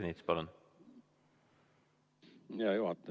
Hea juhataja!